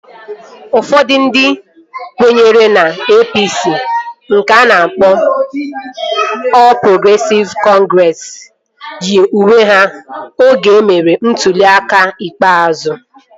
Ụfọdụ ndị kwenyere na APC nke a na-akpọ Ọl Progresịv Kọngresi yi uwe ha oge emere ntụli aka ikpeazụ